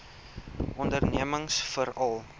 ondernemingsveral